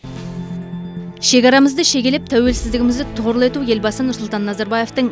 шекарамызды шегелеп тәуелсіздігімізді тұғырлы ету елбасы нұрсұлтан назарбаевтың